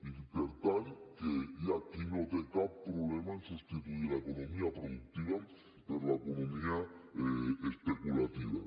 i per tant que hi ha qui no té cap problema a substituir l’economia productiva per l’economia especulativa